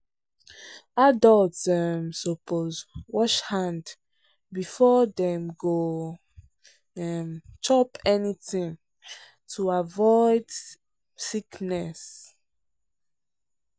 adults um suppose wash hand before dey go um chop anything to avoid um sickness.